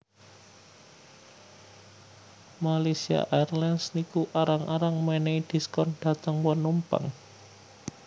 Malaysia Airlines niku arang arang menehi diskon dateng penumpang